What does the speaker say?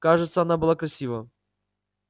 кажется она была красива